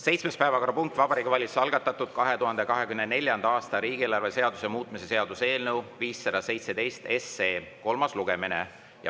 Seitsmes päevakorrapunkt on Vabariigi Valitsuse algatatud 2024. aasta riigieelarve seaduse muutmise seaduse eelnõu 517 kolmas lugemine.